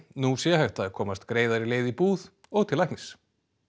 nú sé hægt að komast greiðari leið í búð og til læknis